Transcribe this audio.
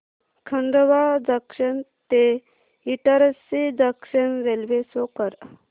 Khandwa junction ते Itarsi junction railway show कर